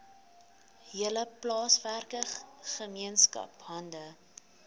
hele plaaswerkergemeenskap hande